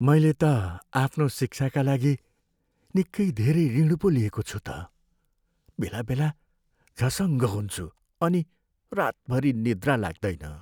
मैले त आफ्नो शिक्षाका लागि निक्कै धेरै ऋण पो लिएको छु त। बेलाबेला झसङ्ग हुन्छु अनि रातभरि निद्रा लाग्दैन।